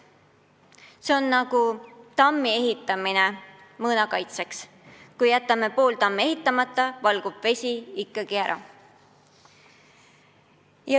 See on nagu tammi ehitamine mõõna kaitseks: kui jätame pool tammi ehitamata, valgub vesi ikkagi ära.